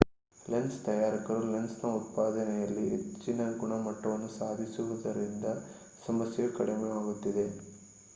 lens ತಯಾರಕರು lens ಉತ್ಪಾದನೆಯಲ್ಲಿ ಹೆಚ್ಚಿನ ಗುಣಮಟ್ಟವನ್ನು ಸಾಧಿಸಿರುವುದರಿಂದ ಸಮಸ್ಯೆಯು ಕಡಿಮೆಯಾಗುತ್ತಿದೆ